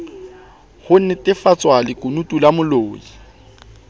ho nnetefatsa lekunutu la molli